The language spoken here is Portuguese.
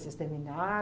Vocês